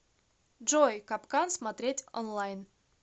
джой капкан смотреть онлайн